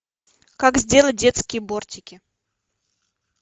как сделать детские бортики